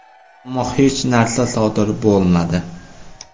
Ammo hech narsa sodir bo‘lmadi.